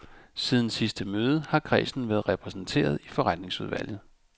Siden sidste møde har kredsen været repræsenteret i forretningsudvalget.